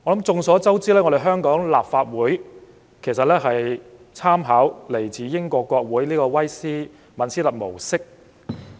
眾所周知，香港立法會參考英國國會的威斯敏斯特模式。